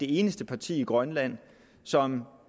eneste parti i grønland som